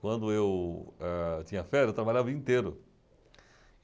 Quando eu eh tinha férias, eu trabalhava o dia inteiro.